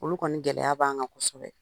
Olu kɔni gɛlɛya b'an kan kosɛbɛ